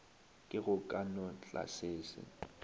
ke go ka no tlasese